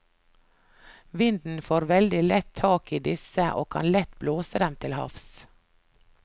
Vinden får veldig lett tak i disse og kan lett blåse dem til havs.